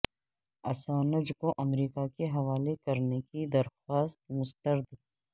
Assange کو امریکہ کے حوالے کرنے کی درخواست مسترد